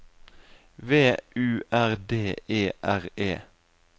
V U R D E R E